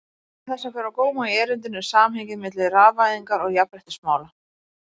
Meðal þess sem ber á góma í erindinu er samhengið milli rafvæðingar og jafnréttismála.